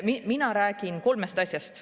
Mina räägin kolmest asjast.